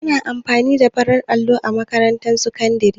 Ana amfani da farin allo a makarantun sakandare